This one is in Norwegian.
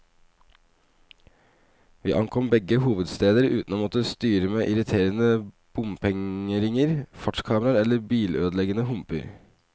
Vi ankom begge hovedsteder uten å måtte styre med irriterende bompengeringer, fartskameraer eller bilødeleggende humper.